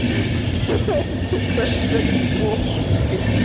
это как так бомбочкой